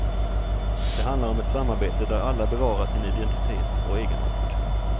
Det handlar om ett samarbete där alla bevarar sin identitet och egenart.